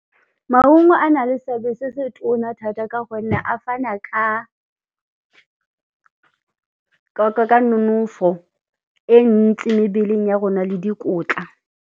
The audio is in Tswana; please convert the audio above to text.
Maungo a na le seabe se se tona thata ka gonne a fana ka nonofo e ntsi mebeleng ya rona le dikotla.